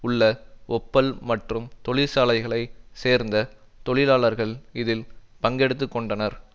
உள்ள ஒப்பல் மற்றும் தொழிற்சாலைகளை சேர்ந்த தொழிலாளர்கள் இதில் பங்கெடுத்து கொண்டனர்